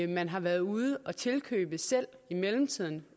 man har været ude at tilkøbe selv i mellemtiden